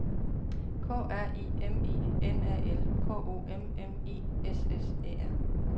K R I M I N A L K O M M I S S Æ R